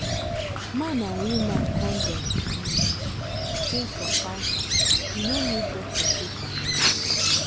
man and woman condom um dey for counter you no need doctor paper.